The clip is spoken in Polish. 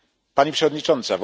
Pani Przewodnicząca!